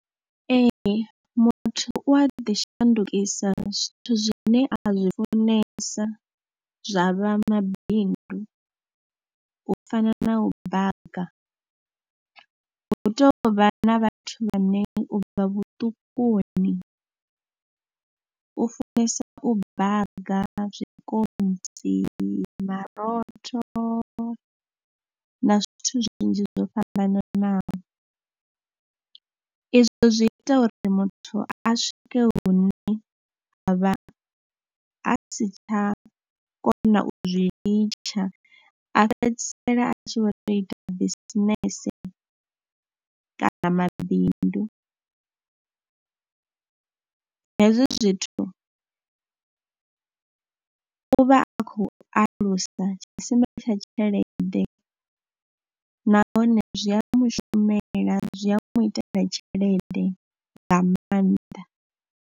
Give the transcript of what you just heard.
Ee muthu u a ḓi shandukisa zwithu zwine a zwi funesa zwa vha mabindu, u fana na u baga. Hu tou vha na vhathu vhane u bva vhuṱukuni u funesa u baga zwikontsi, marotho na zwithu zwinzhi zwo fhambananaho. Izwo zwi ita uri muthu a swike hune a vha a si tsha kona u zwi litsha, a fhedzisela a tshi vho tou ita bisinese kana mabindu. Hezwi zwithu u vha a khou alusa tshisima tsha tshelede nahone zwi a mu shumela, zwi a mu itela tshelede nga maanḓa.